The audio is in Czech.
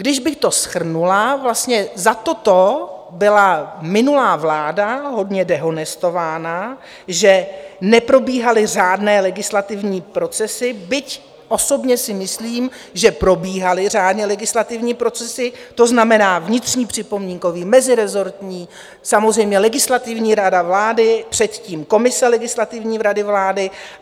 Když bych to shrnula, vlastně za toto byla minulá vláda hodně dehonestována, že neprobíhaly řádné legislativní procesy, byť osobně si myslím, že probíhaly řádně legislativní procesy, to znamená vnitřní připomínkový, mezirezortní, samozřejmě Legislativní rada vlády, předtím komise Legislativní rady vlády.